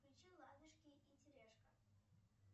включи ладушки и терешка